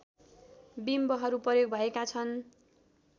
बिम्बहरू प्रयोग भएका छन्